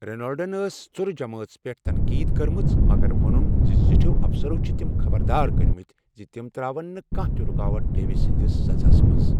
رینالڈن ٲس ژُرٕ جمٲژ پٮ۪ٹھ تنقیٖد کٔرمٕژ مگر ووٚنن زِ زٹھیو افسرو چھِ تِم خبردار کٔرمٕتۍ زِ تِم تراوَن نہٕ کانٛہہ تہِ رُکاوٹ ڈیوِس سنٛدِس سزہَس منٛز۔